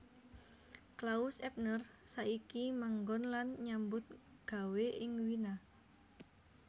Klaus Ebner saiki manggon lan nyambut gawé ing Wina